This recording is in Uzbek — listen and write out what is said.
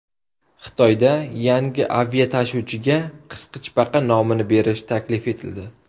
Xitoyda yangi aviatashuvchiga qisqichbaqa nomini berish taklif etildi.